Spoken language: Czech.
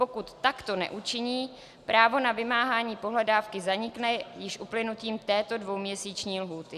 Pokud takto neučiní, právo na vymáhání pohledávky zanikne již uplynutím této dvouměsíční lhůty.